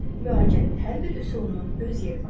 Müalicənin hər bir üsulunun öz yeri var.